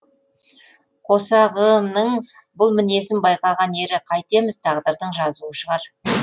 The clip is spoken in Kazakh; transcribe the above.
қосағының бұл мінезін байқаған ері қайтеміз тағдырдың жазуы шығар